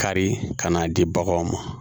Kari ka n'a di baganw ma